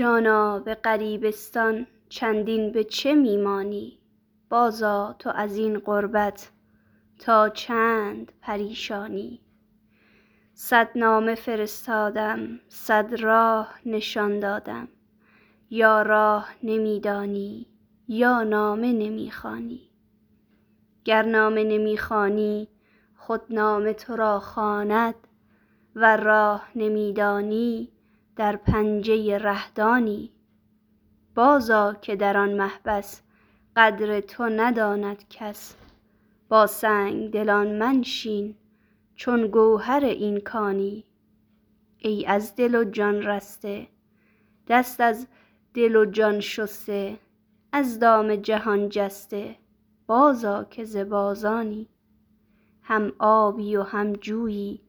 جانا به غریبستان چندین به چه می مانی بازآ تو از این غربت تا چند پریشانی صد نامه فرستادم صد راه نشان دادم یا راه نمی دانی یا نامه نمی خوانی گر نامه نمی خوانی خود نامه تو را خواند ور راه نمی دانی در پنجه ره-دانی بازآ که در آن محبس قدر تو نداند کس با سنگ دلان منشین چون گوهر این کانی ای از دل و جان رسته دست از دل و جان شسته از دام جهان جسته بازآ که ز بازانی هم آبی و هم جویی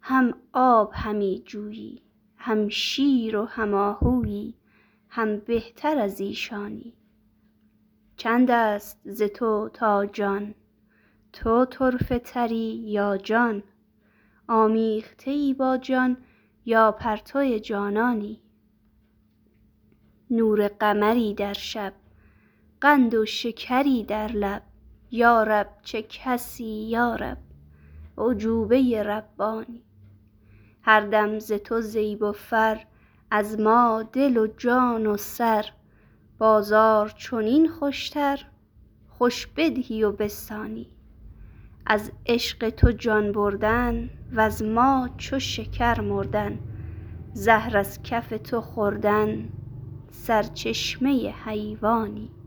هم آب همی جویی هم شیر و هم آهویی هم بهتر از ایشانی چند است ز تو تا جان تو طرفه تری یا جان آمیخته ای با جان یا پرتو جانانی نور قمری در شب قند و شکری در لب یا رب چه کسی یا رب اعجوبه ربانی هر دم ز تو زیب و فر از ما دل و جان و سر بازار چنین خوشتر خوش بدهی و بستانی از عشق تو جان بردن وز ما چو شکر مردن زهر از کف تو خوردن سرچشمه حیوانی